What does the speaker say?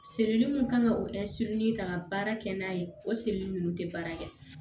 mun kan ka o ta ka baara kɛ n'a ye o ninnu tɛ baara kɛ